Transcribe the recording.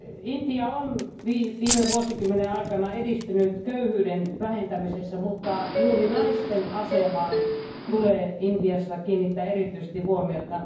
Intia on viime vuosikymmenen aikana edistynyt köyhyyden vähentämisessä, mutta juuri naisten asemaan tulee Intiassa kiinnittää erityisesti huomiota.